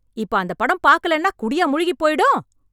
இப்ப அந்தப் படம் பாக்கலேன்னா குடியா முழுகிப் போயிடும்?